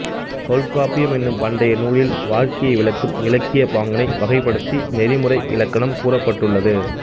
தொல்காப்பியம் என்னும் பண்டைய நூலில் வாழ்க்கையை விளக்கும் இலக்கியப் பாங்கினை வகைப்படுத்தி நெறிமுறை இலக்கணம் கூறப்பட்டுள்ளது